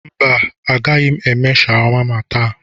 Mba agaghị m eme shawama taa.